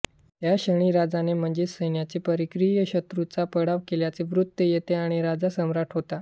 त्याक्षणी राजाने म्हणजे सैन्याने परकीय शत्रूचा पाडाव केल्याचे वृत्त येते आणि राजा सम्राट होतो